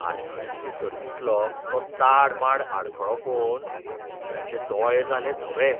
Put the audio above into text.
आडखळ्यांचे सर्तींतलो तो ताड माड आडखळो पळोवन दिव्याचे दोळे जाले धवे.